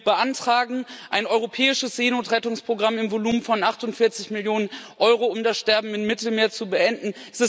Wir beantragen ein europäisches Seenotrettungsprogramm im Volumen von 48 Millionen Euro, um das Sterben im Mittelmeer zu beenden.